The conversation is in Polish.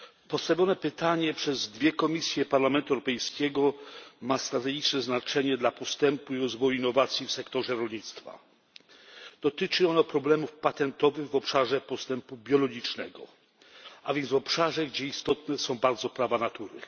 Postawione pytanie przez dwie komisje Parlamentu Europejskiego ma strategiczne znaczenie dla postępu, rozwoju i innowacji w sektorze rolnictwa. Dotyczy ono problemów patentowych w obszarze postępu biologicznego, a więc w obszarze, gdzie istotne są bardzo prawa natury.